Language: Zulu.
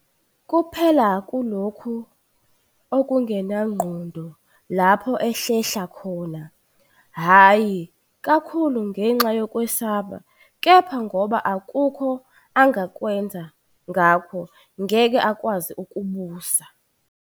Kuphela kulokho okungenangqondo lapho ehlehla khona, hhayi kakhulu ngenxa yokwesaba kepha ngoba akukho angakwenza ngakho, ngeke akwazi ukubusa."